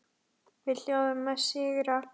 Við hljótum að sigra